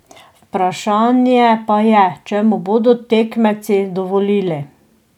Vprašanje pa je, če mu bodo tekmeci dovolili.